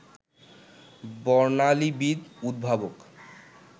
বর্ণালীবিদ, উদ্ভাবক